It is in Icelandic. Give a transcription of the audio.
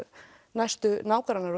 næstu nágrannar